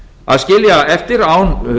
að skilja eftir án